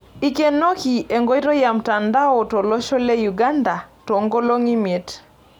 Eikenoki enkoitoi e mtandao tolosho le Uganda toonkolong'I imiet.